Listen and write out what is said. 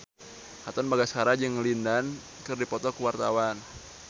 Katon Bagaskara jeung Lin Dan keur dipoto ku wartawan